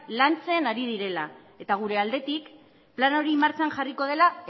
lantzen ari direla gure aldetik plan hori martxan jarriko dela